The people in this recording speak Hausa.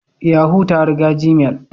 Yahoo ta riga gmail.